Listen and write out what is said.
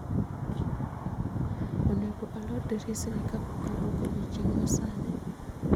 Onego alor dirisni kapok awuok odiechieng' masani